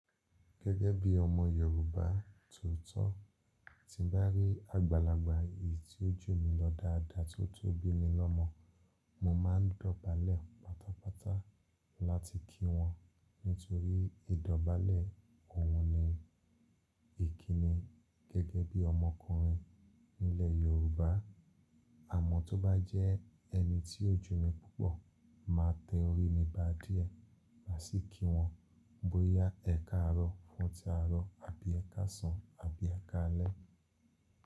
Gẹ́gẹ́ bí ọmọ Yorùbá tooto, tí ń bá rí àgbàlagbà èyí tí ó jù mí lọ dáadáa tó tó bimi lọ́mọ, mo máa ń dọ̀bálẹ̀ pátápátá láti kí wọn nítorí ìdọ̀bálẹ̀ òun ni ìkíni. Gẹ́gẹ́ bí ọmọkùnrin nílẹ̀ Yorùbá, àmọ́ tó bá jẹ́ ẹni tí ó jù mí púpọ̀, màá tẹ orí mi bá dìẹ, màá sì kí wọn bóyá ẹkáàárọ̀ fún tí aárọ̀ àbí ẹkáàsán àbí ẹkáalẹ́.